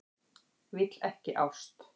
Vill ekki ást.